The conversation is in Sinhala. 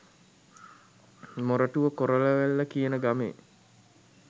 මොරටුව කොරලවැල්ල කියන ගමේ